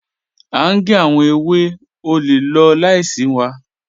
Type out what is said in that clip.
A ń gé àwọn èwè, o lè lọ̀ láisí wà